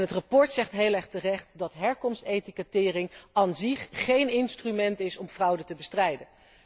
En het verslag zegt heel erg terecht dat herkomstetikettering an sich geen instrument is om fraude te bestrijden.